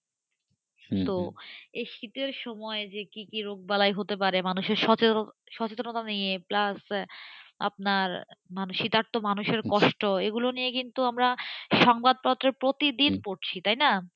তো এই যে শীতের সময় কি কি রোগ হতে পারে মানুষের সচেতনতা নেই plus আবার মানুষের কষ্ট, এগুলো নিয়ে কিন্তু আমরা সংবাদপত্র প্রতিদিন পড়ছিতাই না?